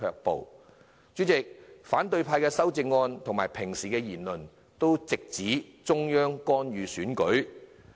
代理主席，反對派的修正案及平時的言論都直指中央干預選舉。